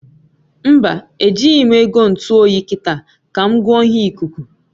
Mba, e jighi m ego ntu oyi kita, ka m goo ihe ikuku